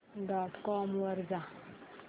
dot com वर जा